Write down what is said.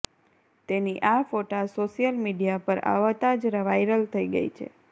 તેની આ ફોટા સોશિયલ મીડિયા પર આવતા જ વાયરલ થઈ ગઈ છે